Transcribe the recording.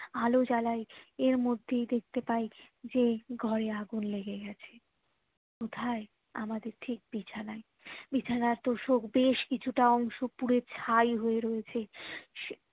আলো জ্বালায় এর মধ্যেই দেখতে পাই যে ঘরে আগুন লেগে গেছে কোথায় আমাদের ঠিক বিছানায় বিছানায় তোশক বেশ কিছুটা অংশ পুড়ে ছাই হয়ে রয়েছে